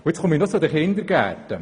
Ich komme zu den Kindergärten: